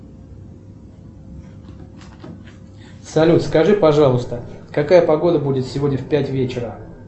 салют скажи пожалуйста какая погода будет сегодня в пять вечера